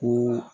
Ko